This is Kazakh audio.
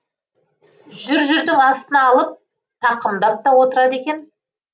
жүр жүрдің астына алып тақымдап та отырады екен